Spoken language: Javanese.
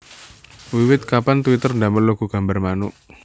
Wiwit kapan Twitter ndamel logo gambar manuk